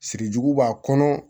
Siri jugu b'a kɔnɔ